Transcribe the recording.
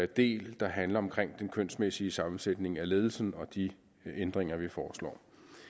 del der handler om den kønsmæssige sammensætning af ledelsen og de ændringer vi foreslår